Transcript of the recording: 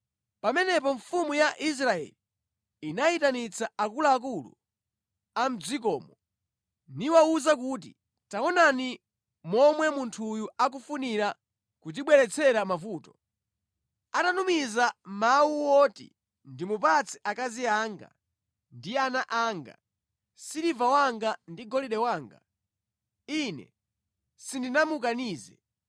Pamenepo mfumu ya Israeli inayitanitsa akuluakulu a mʼdzikomo niwawuza kuti, “Taonani momwe munthuyu akufunira kutibweretsera mavuto! Atatumiza mawu oti ndimupatse akazi anga ndi ana anga, siliva wanga ndi golide wanga, ine sindinamukanize.”